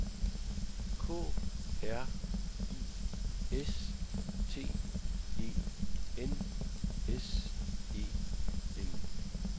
K R I S T E N S E N